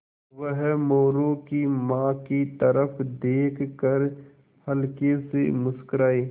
वह मोरू की माँ की तरफ़ देख कर हल्के से मुस्कराये